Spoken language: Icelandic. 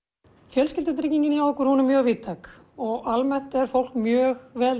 fjölskyldutryggingina hjá okkur hún er mjög víðtæk almennt er fólk mjög vel